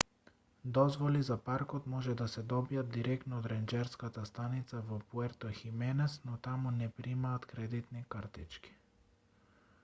дозволи за паркот може да се добијат директно од ренџерската станица во пуерто хименес но таму не примаат кредитни картички